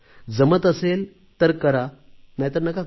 जमत असेल तर करा नाहीतर नका करू